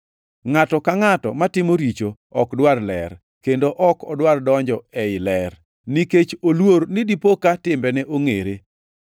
Ngʼato ka ngʼato matimo richo ok dwar ler, kendo ok odwar donjo ei ler, nikech oluor ni dipo ka timbene ongʼere.